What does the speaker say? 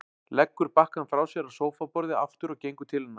Leggur bakkann frá sér á sófaborðið aftur og gengur til hennar.